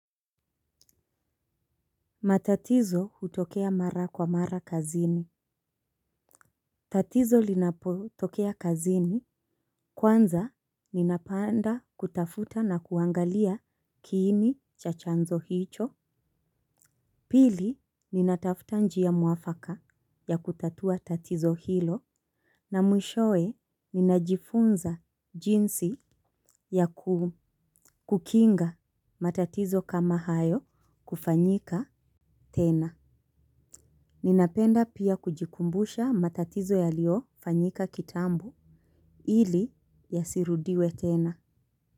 Matatizo hutokea mara kwa mara kazini. Tatizo linapotokea kazini. Kwanza, ninapanda kutafuta na kuangalia kiini cha chanzo hicho. Pili, ninatafuta njia mwafaka ya kutatua tatizo hilo. Na mwishowe, ninajifunza jinsi ya kukinga matatizo kama hayo kufanyika tena. Ninapenda pia kujikumbusha matatizo yaliofanyika kitambo ili yasirudiwe tena.